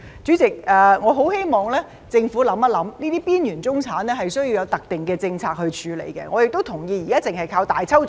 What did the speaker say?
主席，我很希望政府想一想，這些邊緣中產是需要有特定的政策來處理，我亦同意現時只靠"大抽獎"......